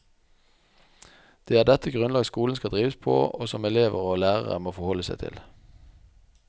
Det er dette grunnlag skolen skal drives på, og som elever og lærere må forholde seg til.